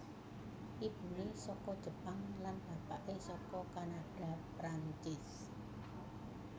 Ibune saka Jepang lan bapake saka Kanada Prancis